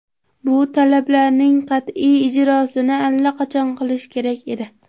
Bu talablarning qat’iy ijrosini allaqachon qilish kerak edi.